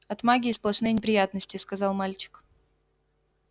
от магии сплошные неприятности сказал мальчик